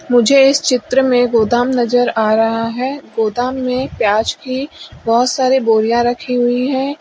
मुझे इस चित्र में गोदाम नजर आ रहा है गोदाम में प्याज की बहुत सारी बोरियां रखी हुई हैं।